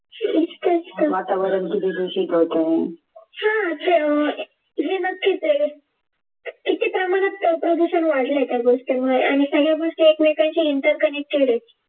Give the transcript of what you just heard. वातावरण किती दूषित होते हा आहे नक्कीच आहे किती प्रमाणात प्रदूषण वाढले त्या गोष्टीमुळे आणि सगळ्या गोष्टी एकमेकांशी interconnected आहेत